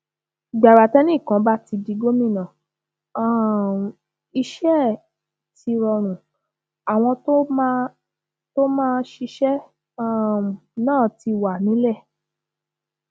gbàrà tẹnìkan bá ti di gómìnà um iṣẹ ẹ ti rọrùn àwọn tó máa tó máa ṣiṣẹ um náà ti wà nílẹ